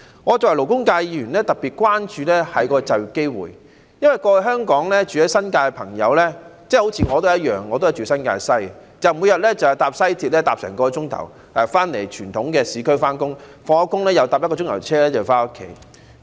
我作為勞工界議員，特別關注就業機會，因為過往住在新界的朋友——就像我一樣，我也是住在新界西——每日要花1小時乘坐西鐵到傳統市區上班，下班後又乘1小時車回家。